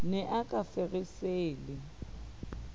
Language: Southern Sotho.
ne a ka feresa le